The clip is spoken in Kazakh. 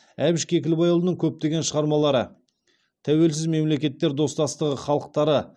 әбіш кекілбайұлының көптеген шығармалары тәуелсіз мемлекеттер достастығы халықтары